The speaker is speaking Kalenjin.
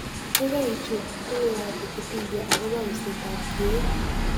Gaigai ichuut tuguukap wikipedia agoboo useetap kiiyooit